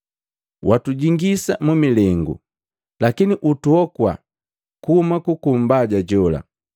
Watujingisa mu milengu, lakini utuhokua kuhuma kuku Mbaja jola.’